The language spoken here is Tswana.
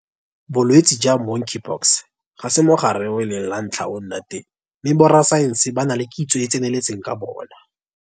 Bolwetse jwa Monkeypox ga se mogare o e leng la ntlha o nna teng mme borasaense ba na le kitso e e tseneletseng ka bona.